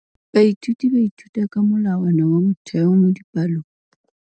Baithuti ba ithuta ka molawana wa motheo mo dipalong.